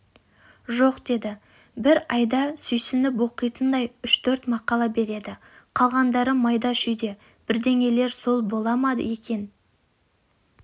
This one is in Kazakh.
жоқ деді бір айда сүйсініп оқитындай үш-төрт мақала береді қалғандары майда-шүйде бірдеңелер сол бола ма екен